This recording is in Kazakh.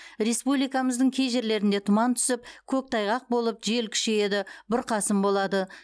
республикамыздың кей жерлерінде тұман түсіп көктайғақ болып жел күшейеді бұрқасын болады